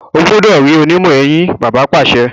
o gbúdọ̀ rí onímọ̀-eyín! bàbá pàṣẹ.